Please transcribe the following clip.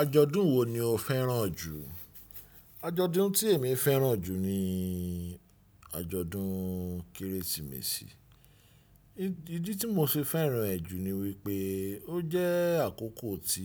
Àjọ̀dún wo ni o fẹ́ràn jù? Àjọ̀dún tí èmi fẹ́ràn jù ni àjọ̀dún kérésìmesì. Ìdí tí mo fi fẹ́ràn ẹ jù ni wípé ó jẹ́ àkọ́kọ́ tí